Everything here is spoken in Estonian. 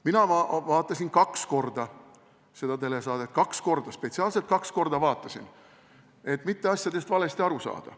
Mina vaatasin seda telesaadet kaks korda – spetsiaalselt kaks korda vaatasin, et mitte asjadest valesti aru saada.